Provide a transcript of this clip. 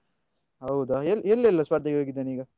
ಹೌದಾ ಎಲ್ಲಿ ಎಲ್ಲ ಸ್ಪರ್ಧೆಗೆ ಹೋಗಿದ್ದಾನೆ ಈಗ?